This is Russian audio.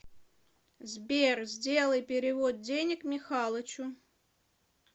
сбер сделай перевод денег михалычу